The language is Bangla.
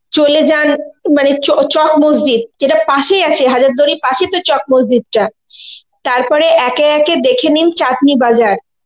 চলে যান মানে চ~ চক মসজিদ. যেটা পাশেই আছে হাজারদুয়ারীর পাশেই তোর চক মসজিদ টা. তারপরে একে একে দেখে নিন চাদনি বাজার